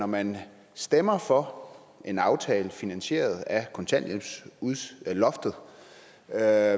man stemmer for en aftale finansieret af kontanthjælpsloftet er